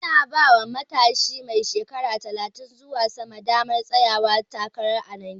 Ana bawa matshi mai shekaru talatin zuwa sama damar tsayawa takara a Najeriya